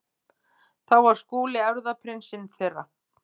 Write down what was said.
Þá var Skúli erfðaprinsinn þeirra.